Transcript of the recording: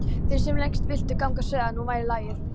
Þeir sem lengst vildu ganga sögðu að nú væri lagið.